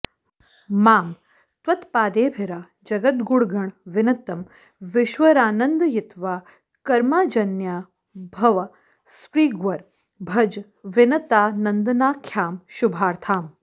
मां त्वत्पादेऽभिराजद्गुणगण विनतं वीश्वरानन्दयित्वा कर्माजन्याभवस्पृग्वर भज विनतानन्दनाख्यां शुभार्थाम्